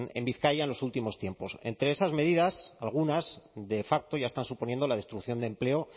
en bizkaia en los últimos tiempos entre esas medidas algunas de facto ya están suponiendo la destrucción de empleo